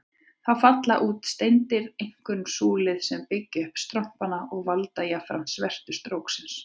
Þá falla út steindir, einkum súlfíð, sem byggja upp strompana og valda jafnframt svertu stróksins.